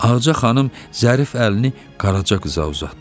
Ağaca xanım zərif əlini Qaraca qıza uzatdı.